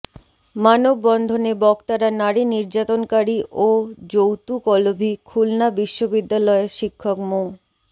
মানববন্ধনে বক্তারা নারী নির্যাতনকারী ও যৌতুকলোভী খুলনা বিশ্ববিদ্যালয়ের শিক্ষক মো